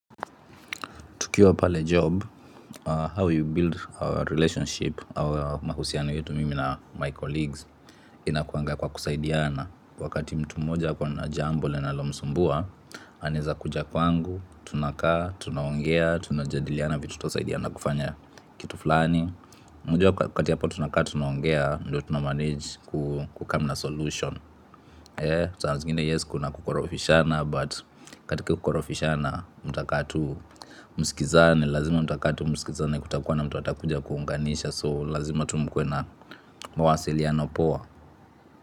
Tukiwa pale job, how you build our relationship, our mahusiano yetu mimi na my colleagues, inakuanga kwa kusaidiana. Wakati mtu mmoja ako na jambo linalomsumbua, aneza kuja kwangu, tunakaa, tunaongea, tunajadiliana vitu tusaidiana kufanya kitu fulani. Unajua waakati hapa tunakaa, tunaongea, ndo tunamanage kucome na solution. Saa zingine yes kuna kukorofishana but katika kukorofishana mtaka tu msikizane. Lazima mtaka tu msikizane kutakuwa na mtu atakuja kuunganisha So lazima tu mkuwe na mawasiliano poa.